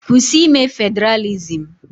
Kwụsị ime Federalism.